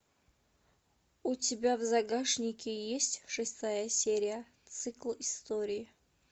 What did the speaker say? у тебя в загашнике есть шестая серия цикл историй